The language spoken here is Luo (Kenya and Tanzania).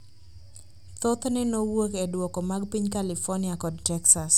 thothne nowuok e duoko mag piny California kod Texas.